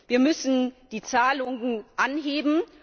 Wir müssen die Zahlungen anheben.